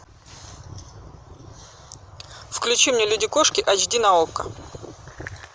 включи мне люди кошки ач ди на окко